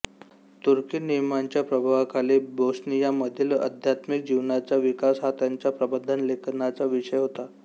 तुर्की नियमांच्या प्रभावाखाली बोस्नियामधील आध्यात्मिक जीवनाचा विकास हा त्यांच्या प्रबंधलेखनाचा विषय होता